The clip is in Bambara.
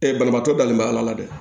banabaatɔ dalen bɛ ala dɛ